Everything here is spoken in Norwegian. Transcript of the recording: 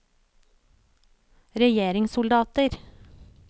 regjeringssoldater